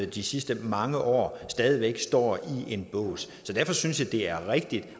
de sidste mange år stadig væk står i en bås så derfor synes jeg det er rigtigt